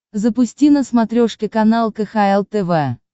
запусти на смотрешке канал кхл тв